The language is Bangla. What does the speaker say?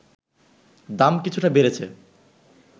দাম কিছুটা বেড়েছে